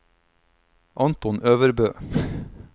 Anton Øvrebø